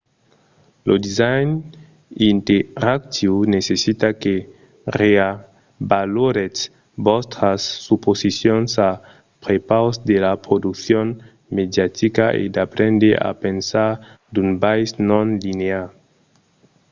lo design interactiu necessita que reavaloretz vòstras suposicions a prepaus de la produccion mediatica e d’aprendre a pensar d’un biais non-linear